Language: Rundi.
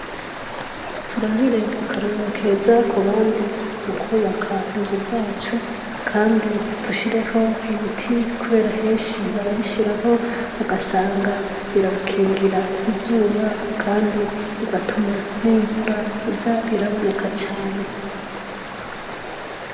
Turabire akarorero keza ku bandi mu kubaka inzu zacu kandi dushireko ibiti kubera henshi barabishirako ugasanga birabakingira izuba kandi bigatuma n'imvura iza iraboneka cane.